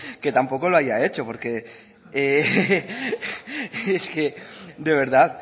que tampoco lo haya hecho porque es que de verdad